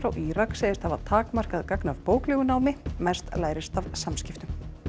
Írak segist hafa takmarkað gagn af bóklegu námi mest lærist af samskiptum